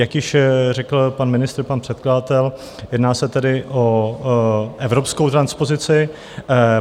Jak již řekl pan ministr, pan předkladatel, jedná se tedy o evropskou transpozici.